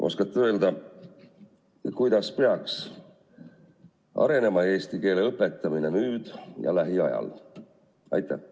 Oskate öelda, kuidas peaks arenema eesti keele õpetamine nüüd ja lähiajal?